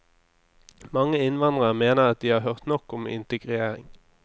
Mange innvandrere mener at de har hørt nok om integrering.